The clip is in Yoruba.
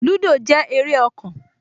Lúdò jẹ́ eré ọkàn